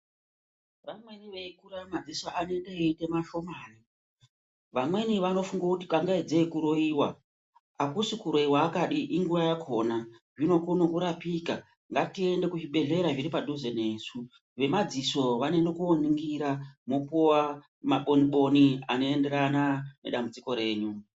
Vamweni vei kura madziso anoita eyi ite mashomani vamweni vano funga kuti kuroyiwa akusi ku roiwa inguva yakona zvino kone kurapika ngati ende ku zvibhedhlera zviri padhuze nesu vve madziso vano ende ko ningira vopuwa ma boni boni ano enderana ne dambudziko renyu.